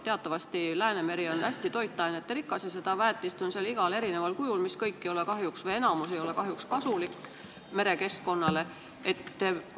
Teatavasti Läänemeri on hästi toitainerikas ja väetist on seal igasugusel kujul, kõik või enamik sellest aga ei ole kahjuks merekeskkonnale kasulik.